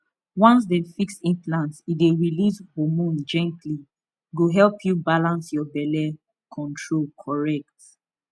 once dem fix implant e dey release hormone gently e go help you balance your belle control correct